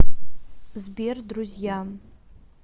сбер друзья